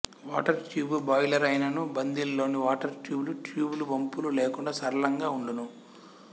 water tube boiler అయినను బందిల్ లోణి వాటరు ట్యూబులు ట్యూబులు వంపులు లేకుండా సరళంగా వుండును